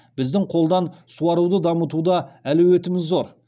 біздің қолдан суаруды дамытуда әлеуетіміз зор